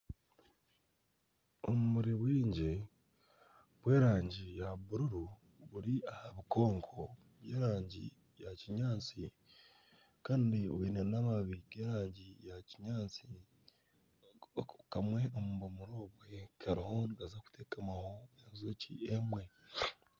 Obumuri bwingi bw'erangi ya bururu buri aha bikonko by'erangi ya kinyaatsi kandi bwine namababi g'erangi ya kinyaatsi kandi kamwe omu bimuri obwo kariyo nikaza kutekamwaho enjoki emwe.